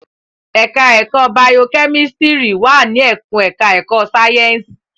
Ẹ̀ka ẹ̀kó bayokẹ́mísítírì wà ní ẹkùn ẹ̀ka ẹ̀kó sáyẹ́ǹsì.